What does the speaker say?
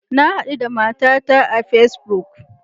Na hadu da matata a Facebook.